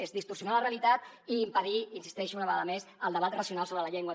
és distorsionar la realitat i impedir hi insisteixo una vegada més el debat racional sobre la llengua